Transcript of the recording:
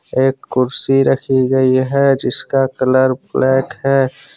एक कुर्सी रखी गयी है। जिसका कलर ब्लैक है।